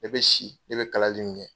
E be si e be kalali min kɛ